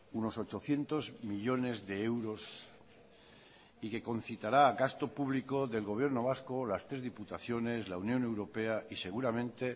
unos ochocientos millónes de euros y que concitará gasto público del gobierno vasco las tres diputaciones la unión europea y seguramente